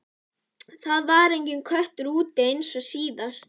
Það var enginn köttur úti eins og síðast.